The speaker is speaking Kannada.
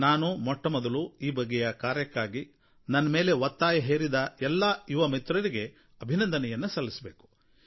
ನಾನು ಮೊಟ್ಟಮೊದಲು ಈ ಬಗೆಯ ಕಾರ್ಯಕ್ಕಾಗಿ ನನ್ನ ಮೇಲೆ ಒತ್ತಾಯ ಹೇರಿದ ಎಲ್ಲಾ ಯುವಮಿತ್ರರಿಗೆ ಅಭಿನಂದನೆಯನ್ನು ಸಲ್ಲಿಸಬೇಕು